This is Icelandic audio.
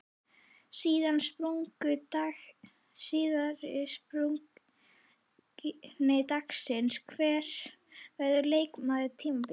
Síðari spurning dagsins: Hver verður leikmaður tímabilsins?